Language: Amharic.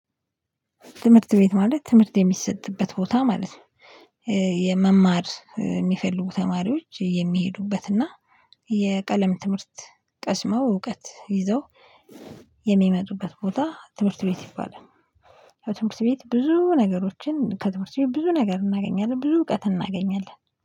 ትምህርት ቤት ማለት ትምህርት የሚሰጥበት ቦታ ማለት ነው። የመማር የሚፈልጉ ተማሪዎች የሚሄዱበት እና የቀለም ትምህርት ቀስመው እውቀት ይዘው የሚመጡበት ቦታ ትምህርት ቤት ይባላል። በትምህርት ቤት ብዙ ነገሮችን ከትምህርት ቤት ብዙ ነገር እናገኛለን ብዙ እውቀት እናገኛለን